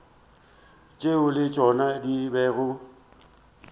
tšeo le tšona di bego